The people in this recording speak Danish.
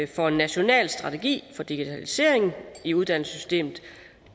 for en national strategi for digitalisering i uddannelsessystemet